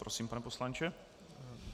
Prosím, pane poslanče.